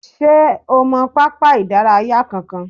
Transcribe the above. Ṣé o mọ pápá ìdárayá kankan?